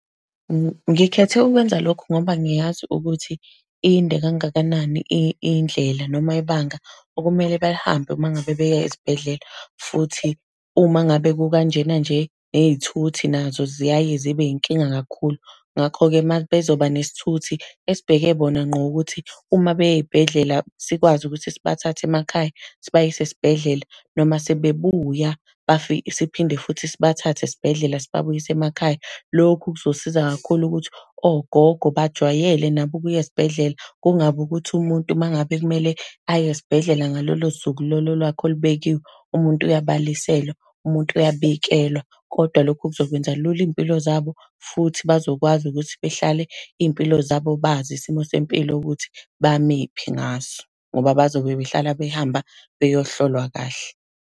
Ngikhethe ukwenza lokho ngoba ngiyazi ukuthi inde kangakanani indlela noma ibanga okumele balihambe uma ngabe beya ezibhedlela. Futhi uma ngabe kukanjena nje, ney'thuthi nazo ziyaye zibe inkinga kakhulu. Ngakho-ke mabezoba nesithuthi esibheke bona ngqo ukuthi uma beya ey'bhedlela, sikwazi ukuthi sibathathe emakhaya, sibayise esibhedlela, noma sebebuya siphinde futhi sibathathe esibhedlela sibabuyise emakhaya. Lokhu kuzosisiza kakhulu ukuthi ogogo bajwayele nabo ukuya esibhedlela, kungabi ukuthi umuntu uma ngabe kumele aye esibhedlela ngalolo suku lolo lwakhe olubekiwe, umuntu uyabaliselwa, umuntu uyabikelwa. Kodwa lokhu kuzokwenza lula iy'mpilo zabo, futhi bazokwazi ukuthi behlale iy'mpilo zabo bazi isimo sempilo yokuthi bamephi ngaso. Ngoba bazobe behlale behamba beyohlolwa kahle.